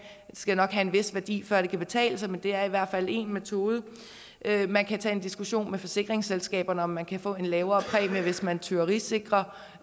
skal nok have en vis værdi før det kan betale sig men det er i hvert fald en metode man kan tage en diskussion med forsikringsselskaberne om man kan få en lavere præmie hvis man tyverisikrer